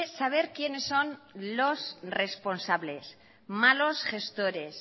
saber quiénes son los responsables malos gestores